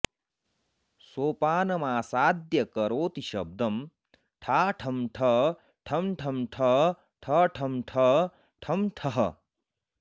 सोपानमासाद्य करोति शब्दं ठा ठं ठ ठं ठं ठ ठ ठं ठ ठं ठः